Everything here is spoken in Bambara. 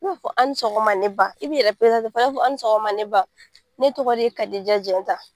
F'u ba fɔ a ni sɔgɔma ne ba. I b'i yɛrɛ i b'a fɔ a ni sɔgɔma ne ba, ne tɔgɔ de Kadija Jɛnta.